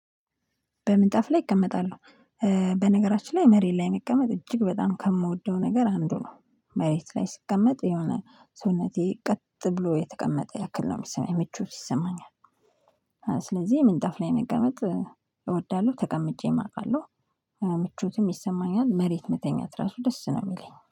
በምንጣፍ ላይ እቀመጣለሁ። በነገራችን ላይ መሬት ላይ መቀመጥ እጅግ በጣም ከምወደው ነገር አንዱ ነው መሬት ላይ ስቀመጥ የሆነ ሰውነቴ ቀጥ ብሎ የተቀመጠ ያክል ነው የሚሰማኝ ምቾት ይሰማኛል። ስለዚህ ምንጠፍ ላይ መቀመጥ እወዳለሁ ተቀምጬም አውቃለሁ። ምቾትም ይሰማኛል መሬት መተኛት ራሱ ደስ ነው የሚለኝ